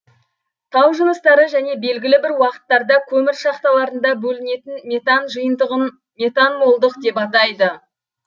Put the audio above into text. тау жыныстары және белгілі бір уақыттарда көмір шахталарында бөлінетін метан жиынтығын метанмолдық деп атайды